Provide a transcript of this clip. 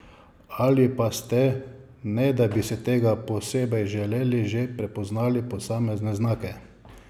Ali pa ste, ne da bi si tega posebej želeli, že prepoznali posamezne znake?